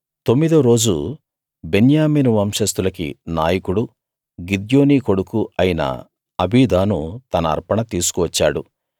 తొమ్మిదో రోజు బెన్యామీను వంశస్తులకి నాయకుడూ గిద్యోనీ కొడుకూ అయిన అబీదాను తన అర్పణ తీసుకు వచ్చాడు